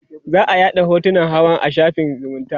za'a yaɗa hotunan hawan a shafin zumunta